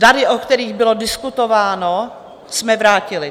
Dary, o kterých bylo diskutováno, jsme vrátili.